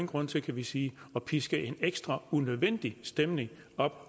grund til kan vi sige at piske en ekstra unødvendig stemning op